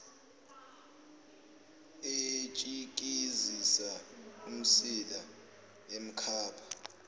etshikizisa umsila emkhapha